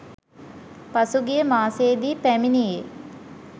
පසුගිය මාසයේදී පැමිණියේ